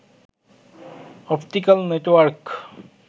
optical network